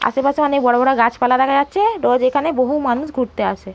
আশেপাশে অনেক বড় বড় গাছপালা দেখা যাচ্ছে রোজ এখানে বহু মানুষ ঘুরতে আসে।